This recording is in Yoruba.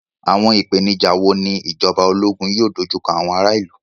Àwọn ìpèníjà wo ni ìjọba ológun yóò dojú kọ àwọn ará ìlú?